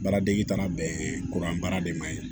Baaradege taara bɛn kuran baara de ma ɲi